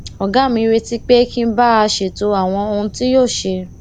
ògá mi retí pé kí n bá a ṣètò àwọn ohun tí yóò ṣe